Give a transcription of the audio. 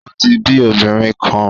O ti bi obinrin kan